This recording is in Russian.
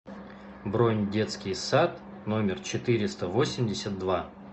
бронь детский сад номер четыреста восемьдесят два